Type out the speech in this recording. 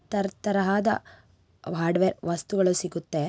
ತರತರವಾದ hardware ವಸ್ತುಗಳು ಸಿಗುತ್ತೆ.